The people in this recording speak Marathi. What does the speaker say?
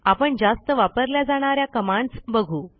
आपण जास्त वापरल्या जाणा या कमांडस् बघू